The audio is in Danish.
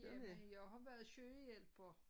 Jamen jeg har været sygehjælper